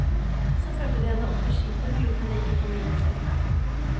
Så førte de henne opp til skipet, men lot henne ikke komme inn i teltet.